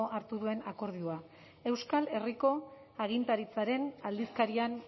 hartu duen akordioa euskal herriko agintaritzaren aldizkarian